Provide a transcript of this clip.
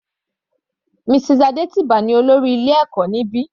Mrs Adetiba ní olórí ilé ẹ̀kọ́ níbi.